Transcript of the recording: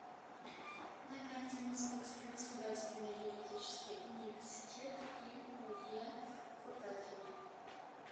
на карте московский государственный юридический университет им ое кутафина